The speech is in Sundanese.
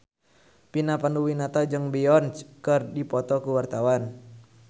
Vina Panduwinata jeung Beyonce keur dipoto ku wartawan